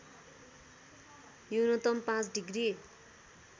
न्यूनतम ५ डिग्री